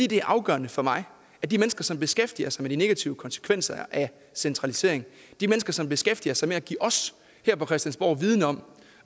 det er afgørende for mig at de mennesker som beskæftiger sig med de negative konsekvenser af centraliseringen og som beskæftiger sig med at give os her på christiansborg viden om